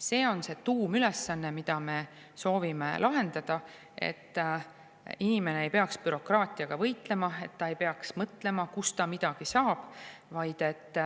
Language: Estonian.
See on see tuumülesanne, mida me soovime lahendada, et inimene ei peaks bürokraatiaga võitlema, et ta ei peaks mõtlema, kust ta midagi saab, vaid et